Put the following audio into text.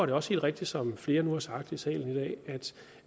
det også helt rigtigt som flere nu har sagt i salen i dag